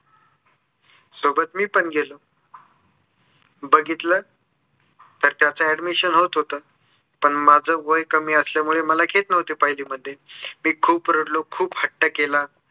सोबत मी पण गेलो बघितलं तर त्याच admission होत होतं. पण माझं वय कमी असल्यामुळे मला घेत नव्हते पहिलीमध्ये. मी खूप रडलो, खूप हट्ट केला.